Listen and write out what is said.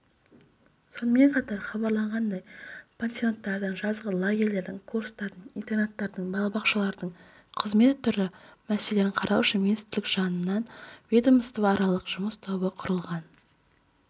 сонымен қатар хабарланғандай пансионаттардың жазғы лагерлердің курстардың интернаттардың балабақшалардың қызмет түрі мәселелерін қарау үшін министрлік жанынан ведомствоаралық жұмыс тобы құрылған